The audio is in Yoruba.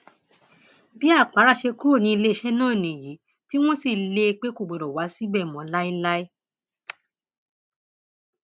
bí àpárá ṣe kúrò ní iléeṣẹ náà nìyí tí wọn sì lé e pé kò gbọdọ wá síbẹ mọ láéláé